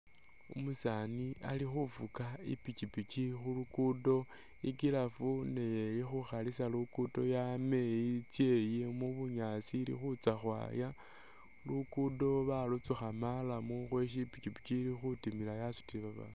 Umusani alikhufuka ipikipiki khulugudo ni giraffe nayo ilikhukhlisa luguddo yameyi itsa eyi mu'bunyaasi ili khutsa khwaya, luguddo balutsukha murram lwesi ipikipiki ilikhutimila yasutile bandu